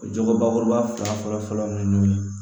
Jogo bakuruba fila fɔlɔ fɔlɔ ni ɲɔgɔn ye